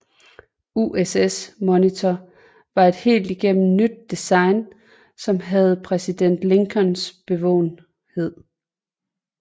USS Monitor var et helt igennem nyt design som havde præsident Lincolns bevågenhed